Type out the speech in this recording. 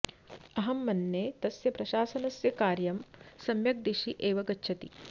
अहं मन्ये तस्य प्रशासनस्य कार्यं सम्यक् दिशि एव गच्छति